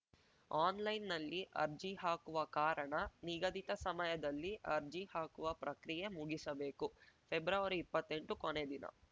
ಅನ್‌ಲೈನ್‌ನಲ್ಲಿ ಅರ್ಜಿ ಹಾಕುವ ಕಾರಣ ನಿಗದಿತ ಸಮಯದಲ್ಲಿ ಅರ್ಜಿ ಹಾಕುವ ಪ್ರಕ್ರಿಯೆ ಮುಗಿಸಬೇಕುಫೆಬ್ರವರಿ ಇಪ್ಪತ್ತೆಂಟು ಕೊನೆದಿನ